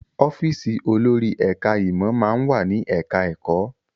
Ọ́fíìsì olórí ẹ̀ká ìmọ̀ máa ń wà ní ẹ̀ká ẹ̀kọ́